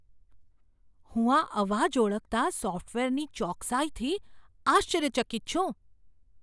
હું આ અવાજ ઓળખતા સોફ્ટવેરની ચોકસાઈથી આશ્ચર્યચકિત છું.